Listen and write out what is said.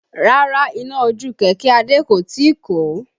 Rárá iná ojú kẹ̀kẹ́ Adé kò tíì kọ́